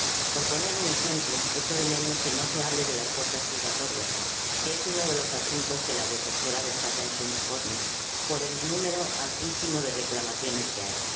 Por poner un ejemplo, echo de menos que no se hable de las puertas giratorias, que es uno de los asuntos que la Defensora destaca en su informe por el elevadísimo número de reclamaciones formuladas.